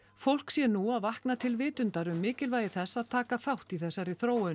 fólk sé nú að vakna til vitundar um mikilvægi þess að taka þátt í þessari þróun